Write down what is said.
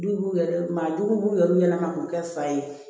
Du yɛrɛ maa duuru b'u yɛrɛ ɲɛna k'u kɛ fa ye